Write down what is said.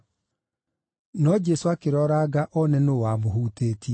No Jesũ akĩroranga one nũũ wamũhutĩtie.